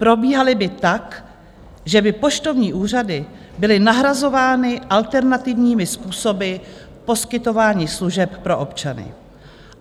Probíhaly by tak, že by poštovní úřady byly nahrazovány alternativními způsoby poskytování služeb pro občany.